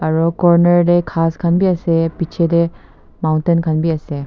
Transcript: aro corner tey ghas khan bi ase piche tey mountain khan bi ase.